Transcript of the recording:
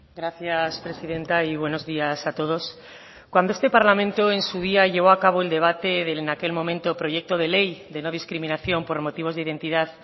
gracias presidenta y buenos días a todos cuando este parlamento en su día llevó a cabo el debate de en aquel momento proyecto de ley de no discriminación por motivos de identidad